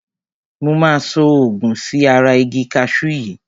Mo máa so òògun sí ara igi kaṣú yìí.